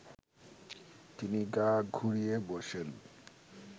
তিনি গা ঘুরিয়ে বসেন